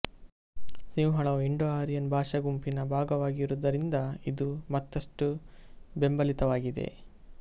ಸಿಂಹಳವು Indo Aryan ಭಾಷಾ ಗುಂಪಿನ ಭಾಗವಾಗಿರುವುದರಿಂದ ಇದು ಮತ್ತಷ್ಟು ಬೆಂಬಲಿತವಾಗಿದೆ